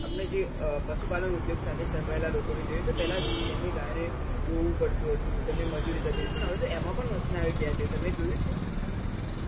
અમે જે પશુ પાલન ઉદ્યોગ સાથે સંકળાયેલા લોકોને પેલાં તેમની ગાયો ને દોવું પડતું હતું તેની મજુરી થતી હતી પણ હવે તો એમાં પણ machine આવી ગયા છે તમે જોયું છે